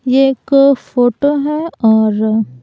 यह एक फोटो है और--